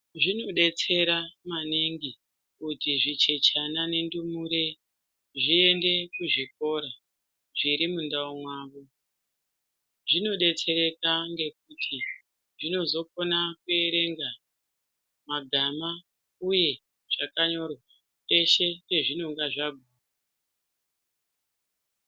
Zvino detsera maningi kuti zvi chechena ne ndumure zviende ku zvikora zviri mundau mavo zvino detsereka ngekuti zvino zokona ku erenga magama uye zvakanyorwa peshe pazvinenge zvaguma.